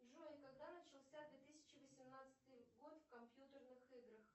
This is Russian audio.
джой когда начался две тысячи восемнадцатый год в компьютерных играх